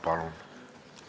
Palun!